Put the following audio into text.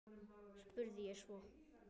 spurði ég svo.